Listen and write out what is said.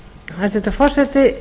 hæstvirtur forseti